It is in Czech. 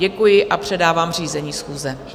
Děkuju a předávám řízení schůze.